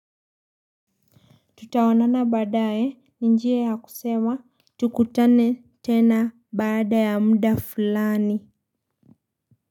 Tutaonana baadae ni njia ya kusema tukutane tena baada ya muda fulani.